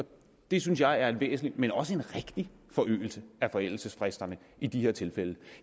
det synes jeg er en væsentlig men også en rigtig forlængelse af forældelsesfristerne i de her tilfælde